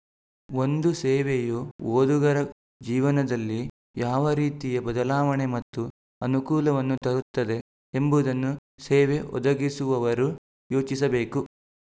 ಒಂದು ಸೇವೆಯು ಓದುಗರ ಜೀವನದಲ್ಲಿ ಯಾವ ರೀತಿಯ ಬದಲಾವಣೆ ಮತ್ತು ಅನುಕೂಲವನ್ನು ತರುತ್ತದೆ ಎಂಬುದನ್ನು ಸೇವೆ ಒದಗಿಸುವವರು ಯೋಚಿಸಬೇಕು